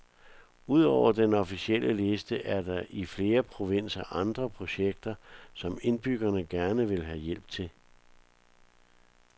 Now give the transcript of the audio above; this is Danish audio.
Udover den officielle liste er der i flere provinser andre projekter, som indbyggerne gerne vil have hjælp til.